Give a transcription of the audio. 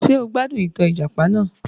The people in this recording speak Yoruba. Njẹ́ o gbádùn ìtàn ìjàpà náà?